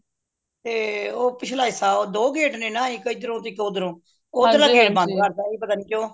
ਤੇ ਉਹ ਪਿਛਲਾ ਹਿੱਸਾ ਦੋ gate ਨੇ ਨਾ ਇੱਕ ਹਿਦਰੋ ਇੱਕ ਓਹਦਰੋ ਓਹਦਰਲਾ gate ਬੰਦ ਕਰਤਾ ਪਤਾ ਨਹੀਂ ਕਿਉਂ